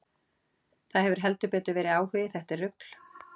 Það hefur heldur betur verið áhugi, þetta er rugl.